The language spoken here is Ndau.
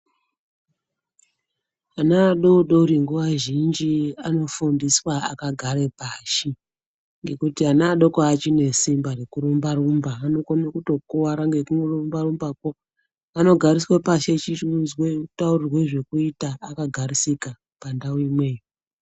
Ana vadodori nguwa zhinji anofundiswa akagara pashi ngekuti ana adoko achinesimba rekurumba rumba anokona kutokuwara ngekurumba rumbakwo anogariswa pashi achichi unzwa achitaurirwa zvkuita akagarisika pandau imweyo.